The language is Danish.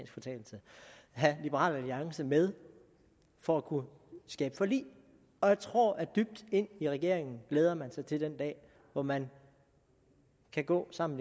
fortalelse have liberal alliance med for at kunne skabe forlig jeg tror at dybt ind i regeringen glæder man sig til den dag hvor man kan gå sammen